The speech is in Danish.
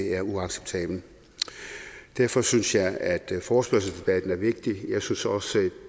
er uacceptabelt derfor synes jeg at forespørgselsdebatten er vigtig jeg synes også at